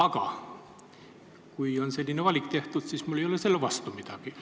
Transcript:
Aga kui on selline valik tehtud, siis mul ei ole selle vastu midagi.